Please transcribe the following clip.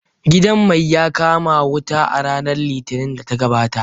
Gidan mai ya kama wuta a ranar Litinin da ta gabata.